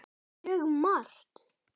Mjög margt.